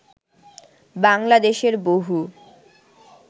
বাংলাদেশের বহু